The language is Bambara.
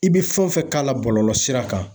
I bɛ fɛn o fɛn k'a la bɔlɔlɔ sira kan